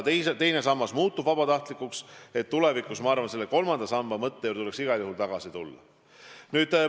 Kui teine sammas muutub vabatahtlikuks, siis tulevikus peaks kolmanda samba mõtte juurde igal juhul tagasi tulema.